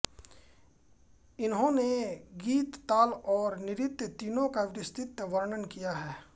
इन्होंने गीत ताल और नृत्त तीनों का विस्तृत वर्णन किया है